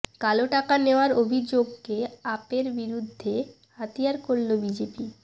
কালো টাকা নেওয়ার অভিযোগকে আপের বিরুদ্ধে হাতিয়ার করল বিজেপি